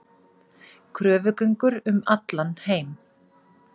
Kröfugöngur um allan heim